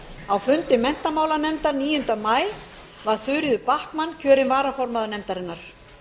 á fundi menntamálanefndar níunda maí var þuríður backman kjörin varaformaður nefndarinnar